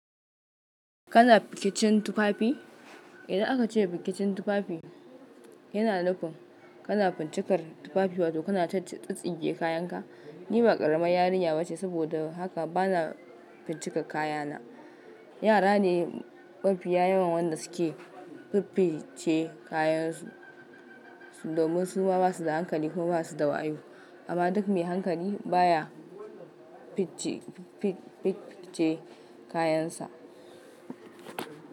Kana pikicin tufafi? Idan aka ce pikicin tufafi, yana nufin kana fincikar tufafi wato kana tatsinge kayanka. Ni ma ƙaramar yarinya ba ce, saboda haka bana fincika kayana. Yara ne mafi yawan wanda suke fifice kayansu domin su ma ba su da hankali ko ma ba su da wayo. Amma duk me hankali baya picce pip pi picce kayansa.